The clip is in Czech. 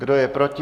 Kdo je proti?